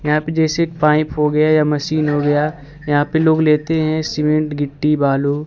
यहां पे जैसे पाइप हो गया या मशीन हो गया यहां पे लोग लेते हैं सीमेंट गिट्टी बालू।